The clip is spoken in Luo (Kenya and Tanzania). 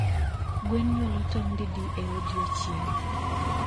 Gwen nyuolo tong didi e odieching'?